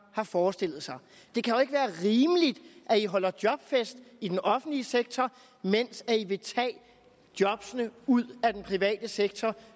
forestillet sig det kan jo ikke være rimeligt at i holder jobfest i den offentlige sektor mens i vil tage jobbene ud af den private sektor